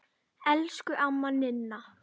Elsku amma Ninna.